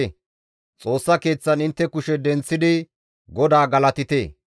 Xoossa Keeththan intte kushe denththidi GODAA galatite.